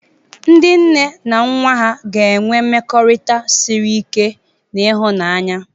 Ndị nne na nwa ha ga-enwe mmekọrịta siri ike na ịhụnanya.